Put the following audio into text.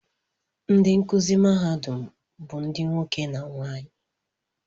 Ndị nkụzi mahadum bụ ndị nwoke na nwaanyị